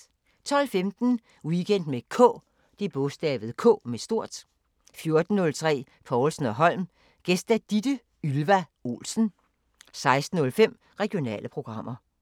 12:15: Weekend med K 14:03: Povlsen & Holm: Gæst Ditte Ylva Olsen 16:05: Regionale programmer